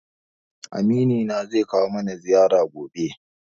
Amini na zai kawo mana ziyara gobe.